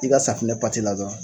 I ka safunɛ dɔrɔn